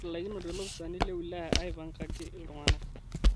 Etalaikinote loopisani le wilaya aipangaki ltung'ana